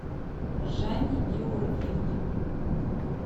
жанне георгиевне